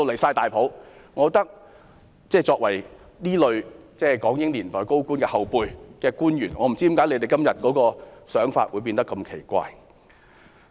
現在的官員是港英年代高官的後輩，我不知道為何他們今天的想法會變得如此奇怪。